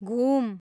घुम